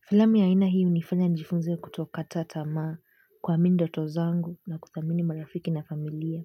Filamu ya aina hii hunifanya njifunze ya kuto kata tamaa kuamini ndoto zangu na kuthamini marafiki na familia.